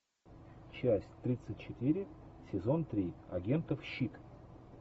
часть тридцать четыре сезон три агентов щит